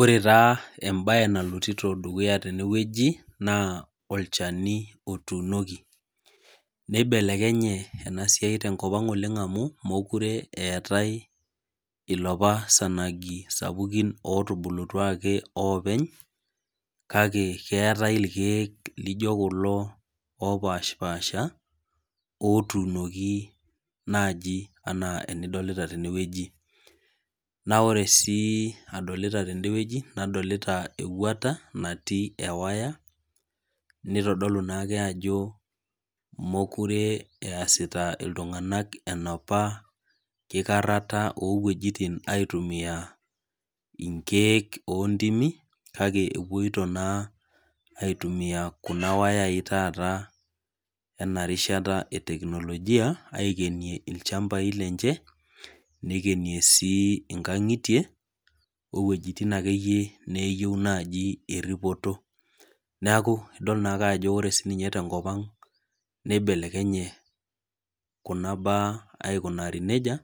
Ore taa ebae nalotito dukuya teneweji naa olchani otunoki. Nibelekenye ena siai tenkop ang' amu mokire eetae ilapa sanagi sapukin otubulutua ake openy kake ketae irkeek lijo kulo opasha pasha otunoki naji ena tenidolita teneweji. Naa ore tedeweji nadolita ewuata natii ewaya naitodolu naake ajo mokire eesita iltung'ana inapa kikarata oo weitin naitumia inkeek ontimi kake epoito naa aitumia kuna wayai etata ena rishata ee teknojia aikenia ilchambai lenche nikenie sii inkang'itie oo ewejitin akeyie naji neyeu eripito. Neekuu idol naake ajo ore sii ninye tenkop ang' nibelekenye kuna baa aikunari neija